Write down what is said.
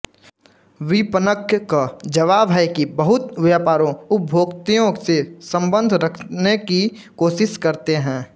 विपणक क जवाब है कि बहुत व्यापारो उप्भोक्तयो से सम्बन्ध रखने कि कोशिश करते है